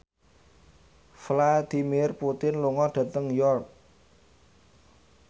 Vladimir Putin lunga dhateng York